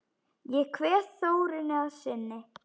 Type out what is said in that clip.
Ég kveð Þórunni að sinni.